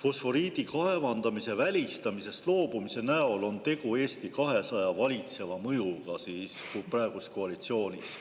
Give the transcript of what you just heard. fosforiidi kaevandamise välistamisest loobumise näol on tegu Eesti 200 valitseva mõjuga praeguses koalitsioonis?